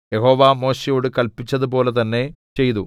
യഹോവ മോശെയോട് കല്പിച്ചതുപോലെ തന്നെ ചെയ്തു